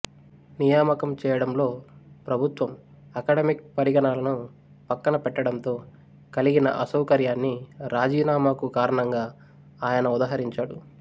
నియామకం చేయడంలో ప్రభుత్వం అకాడెమిక్ పరిగణనలను పక్కనపెట్టడంతో కలిగిన అసౌకర్యాన్ని రాజీనామాకు కారణంగా ఆయన ఉదహరించాడు